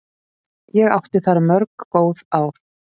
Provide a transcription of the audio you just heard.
Ég átti þar mörg góð ár.